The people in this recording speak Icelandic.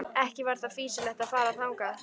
Ekki var því fýsilegt að fara þangað.